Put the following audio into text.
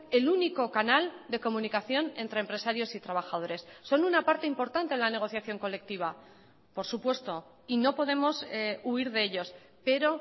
el único canal de comunicación entre empresarios y trabajadores son una parte importante en la negociación colectiva por supuesto y no podemos huir de ellos pero